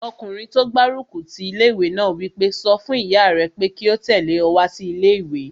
Ọkùnrin tó gbárùkù ti ilé-ìwé náà wí pé, "sọ fún ìyá rẹ pé kí ó tẹ̀lé ọ wá sí ilé-ìwé!"